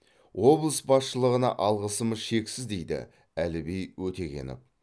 облыс басшылығына алғысымыз шексіз дейді әліби өтегенов